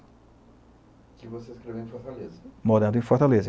Que você escreveu em Fortaleza? Morando em fortaleza